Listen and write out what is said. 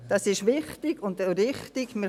Das ist wichtig und richtig.